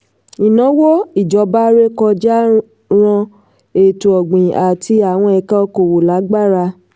ìnáwó ìjọba ré kọjá ran ètò-ọ̀gbìn àti àwọn ẹ̀ka òkòòwò lágbára.